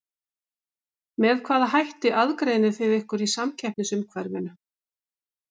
Með hvaða hætti aðgreinið þið ykkur í samkeppnisumhverfinu?